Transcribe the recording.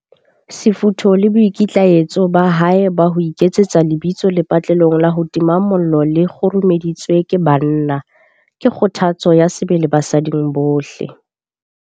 Sefutho le boikitlaetso ba hae ba ho iketsetsa lebitso lepatlelong la ho tima mollo le kguru-meditsweng ke banna, ke kgothatso ya sebele basading bohle.